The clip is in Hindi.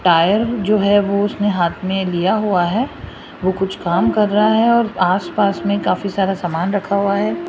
टाइल जो है वो उसने हाथ में लिया हुआ है वो कुछ काम कर रहा है और आसपास में काफी सारा सामान रखा हुआ है।